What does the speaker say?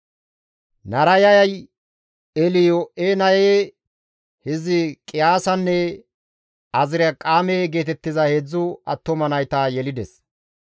Narayay Elyo7enaye, Hizqiyaasanne Azirqaame geetettiza 3 attuma nayta yelides.